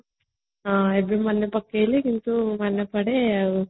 ଏବେ ମାନେ ପକେଇଲେ କିନ୍ତୁ ମନେପଡେ ଆଉ